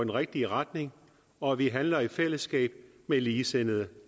rigtige retning og at vi handler i fællesskab med ligesindede